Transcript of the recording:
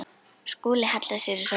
Skúli hallar sér í sófann.